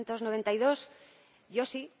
1992? Yo sí.